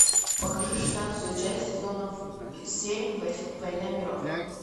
покажи шестнадцатую часть сезона семь война миров